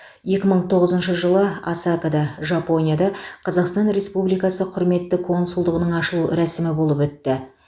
екі мың тоғызыншы жылы осакада жапонияда қазақстан республикасы құрметті консулдығының ашылу рәсімі болып өтті